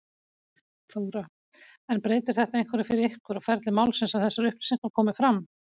Þóra: En breytir þetta einhverju fyrir ykkur og ferli málsins að þessar upplýsingar komi fram?